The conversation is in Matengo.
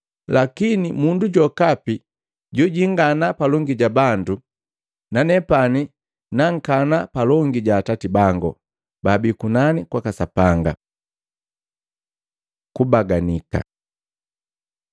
Lakini mundu jokapi jojingana palongi ja bandu, nanepani nankana palongi ja Atati bangu baabii kunani kwaka Sapanga. Kubaganika Luka 12:8-9